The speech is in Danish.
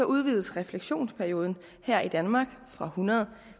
udvides refleksionsperioden her i danmark fra hundrede